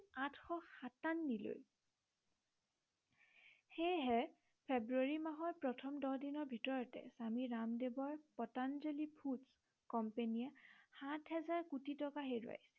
আঠশ সাতানবিলৈ সেয়েহে ফেব্ৰূৱাৰী মাহৰ প্ৰথম দহ দিনৰ ভিতৰতে স্বামী ৰামদেৱৰ পতঞ্জলী food company য়ে সাত হাজাৰ কোটি টকা হেৰুৱাই